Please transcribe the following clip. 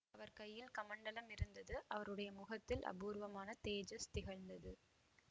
அவர் கையில் கமண்டலம் இருந்தது அவருடைய முகத்தில் அபூர்வமான தேஜஸ் திகழ்ந்தது